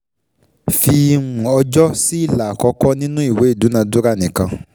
Fi um ọjọ́ sí ilà àkọ́kọ́ nínú ìwé ìdúnadúrà nìkan.